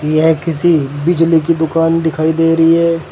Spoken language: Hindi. यह किसी बिजली की दुकान दिखाई दे रही है।